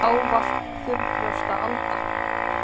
Ávallt þurrbrjósta Alda.